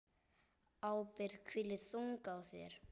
Ábyrgð hvílir þung á þér.